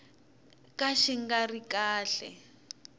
ka xi nga ri kahle